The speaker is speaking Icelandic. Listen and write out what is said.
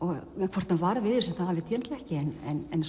hvort hann varð við þessu veit ég ekki en